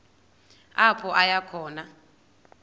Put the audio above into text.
apho aya khona